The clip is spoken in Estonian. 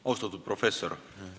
Austatud professor!